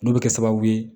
N'o bɛ kɛ sababu ye